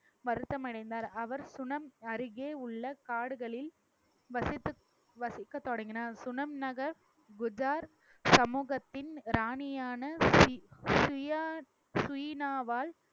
வருத்தம் அடைந்தார் அவர் சுனம் அருகே உள்ள காடுகளில் வசித்து வசிக்க தொடங்கினார் சுனம் நகர் குஜார் சமூகத்தின் ராணியான